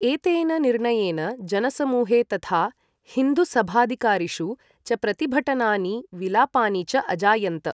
एतेन निर्णयेन जनसमूहे तथा हिन्दू सभाधिकारिषु च प्रतिभटनानि विलापानि च अजायन्त।